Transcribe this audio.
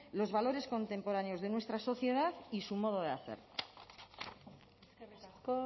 los valores contemporáneos de nuestra sociedad y su modo de hacer eskerrik asko